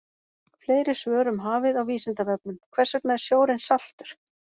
Fleiri svör um hafið á Vísindavefnum: Hvers vegna er sjórinn saltur?